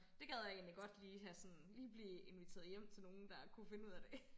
Det gad jeg egentlig godt lige have sådan lige blive inviteret hjem til nogen der kunne finde ud af det